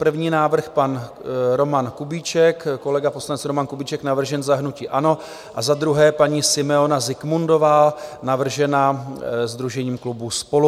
První návrh pan Roman Kubíček, kolega poslanec Roman Kubíček, navržen za hnutí ANO, a za druhé paní Simeona Zikmundová, navržena sdružením klubu SPOLU.